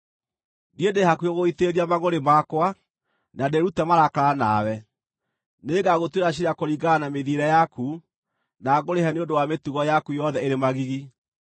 Niĩ ndĩ hakuhĩ gũgũitĩrĩria mangʼũrĩ makwa, na ndĩĩrute marakara nawe; nĩngagũtuĩra ciira kũringana na mĩthiĩre yaku, na ngũrĩhe nĩ ũndũ wa mĩtugo yaku yothe ĩrĩ magigi.